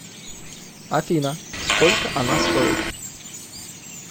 афина сколько она стоит